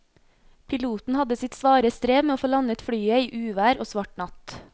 Piloten hadde sitt svare strev med å få landet flyet i uvær og svart natt.